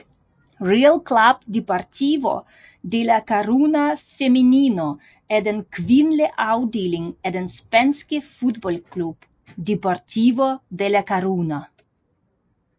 Real Club Deportivo de La Coruña Femenino er den kvindelige afdeling af den spanske fodboldklub Deportivo de La Coruña